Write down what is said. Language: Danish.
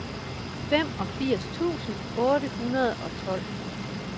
femogfirs tusind otte hundrede og tolv